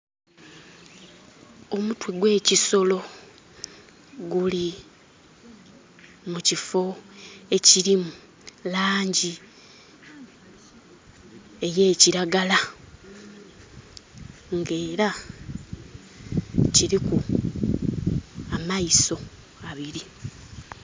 Omutwe gwe kisolo guli mu kifo ekirimu langi eye kiragala nga era kiriku amaiso abiri